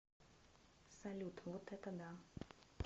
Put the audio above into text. салют вот это да